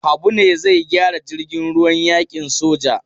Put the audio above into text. Habu ne zai gyara jirgin ruwan yakin soja.